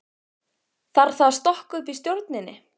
Þarf þá að stokka upp í stjórninni?